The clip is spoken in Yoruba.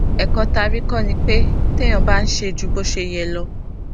èkó tá a rí kó ni pé téèyàn bá ń ṣe ju bó ṣe yẹ lọ